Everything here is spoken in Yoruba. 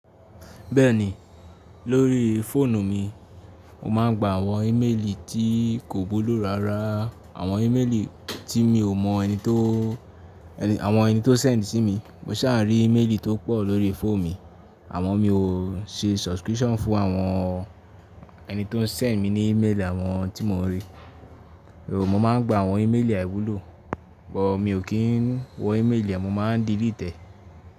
Bẹ́ẹ̀ni, lórí fóònù mi, mo máà ń gba àwọn íméèlì tí kò wúlò rárá. Àwọn íméèlì tí mi ò mọ ẹni tó sẹ̀ ní sí mi. Mo ṣá rí íméèlì tó pọ̀ lórí fóònù mi àmọ́ mi ò ṣe subscription fún àwọn ẹni tó ń sẹ̀ mí ní íméèlì àwọn tí mo ń rí. Èrò mo máà ń gba àwọn íméèlì àìwúlò, but mi ò kí ń wo íméèlì, mo ma ń delete ẹ.